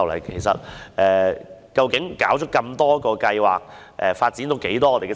其實，以往不是每個計劃也成功的。